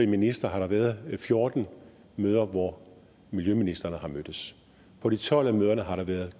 minister har der været fjorten møder hvor miljøministrene har mødtes på de tolv af møderne har der været